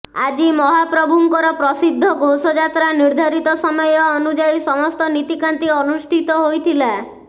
ଆଜି ମହାପ୍ରଭୁ ଙ୍କର ପ୍ରସିଦ୍ଧ ଘୋଷଯାତ୍ରା ନିର୍ଦ୍ଧାରିତ ସମୟ ଅନୁଯାୟୀ ସମସ୍ତ ନୀତି କାନ୍ତି ଅନୁଷ୍ଠିତ ହୋଇଥିଲା